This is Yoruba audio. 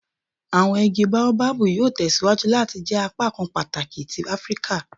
Awọn igi Baobabu yoo tẹsiwaju lati jẹ apakan pataki ti Afirika